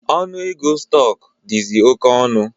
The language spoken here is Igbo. Ọnụ ego stọk dizi oké elu